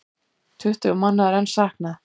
Tuttugu manna er enn saknað.